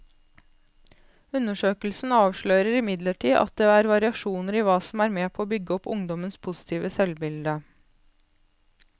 Undersøkelsen avslører imidlertid at det er variasjoner i hva som er med på å bygge opp ungdommenes positive selvbilde.